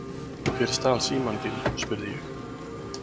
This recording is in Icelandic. Hver stal símanum þínum? spurði ég.